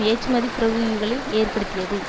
ஏற்றுமதிப் பிரிவுகளில் ஏற்படுத்தியது